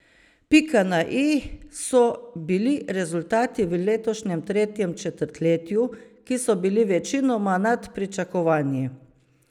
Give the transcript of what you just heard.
Pika na i so bili rezultati v letošnjem tretjem četrtletju, ki so bili večinoma nad pričakovanji.